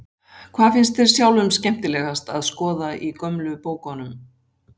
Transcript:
Hvað finnst þér sjálfum skemmtilegast að skoða í gömlu bókunum?